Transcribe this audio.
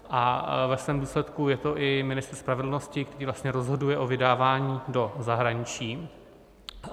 A ve svém důsledku je to i ministr spravedlnosti, který vlastně rozhoduje o vydávání do zahraničí.